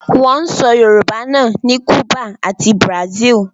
Wọ́n ń sọ Yorùbá náà ní Cùbà ati Brazil